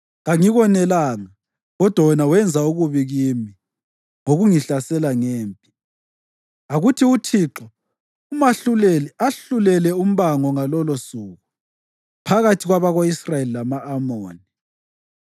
Kangikonelanga, kodwa wena wenza okubi kimi ngokungihlasela ngempi. Akuthi uThixo, uMahluleli, ahlulele umbango ngalolosuku phakathi kwabako-Israyeli lama-Amoni.”